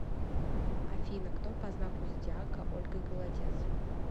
афина кто по знаку зодиака ольга голодец